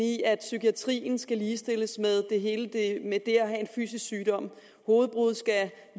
i at psykiatrien skal ligestilles med det at have en fysisk sygdom hovedbrud skal